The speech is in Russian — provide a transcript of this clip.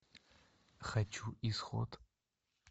хочу исход